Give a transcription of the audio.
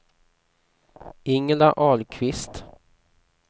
Ingela Ahlqvist